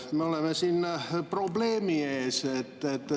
Me oleme siin probleemi ees.